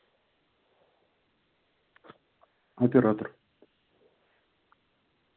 оператор